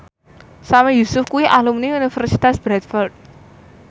Sami Yusuf kuwi alumni Universitas Bradford